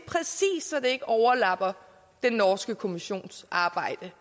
så det ikke overlapper den norske kommissions arbejde